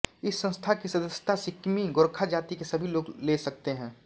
इस संस्था की सदस्यता सिक्किमी गोर्खा जाति के सभी लोग ले सकते हैं